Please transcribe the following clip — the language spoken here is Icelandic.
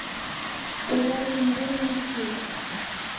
Við verðum að reyna aftur.